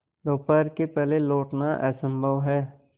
दोपहर के पहले लौटना असंभव है